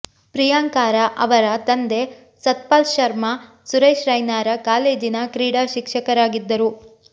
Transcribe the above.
ಪ್ರಿಯಾಂಕಾರ ಅವರ ತಂದೆ ಸತ್ಪಾಲ್ ಶರ್ಮಾ ಸುರೇಶ್ ರೈನಾರ ಕಾಲೇಜಿನ ಕ್ರೀಡಾ ಶಿಕ್ಷಕರಾಗಿದ್ದರು